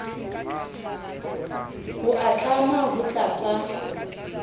ho a tlama ho tlatsa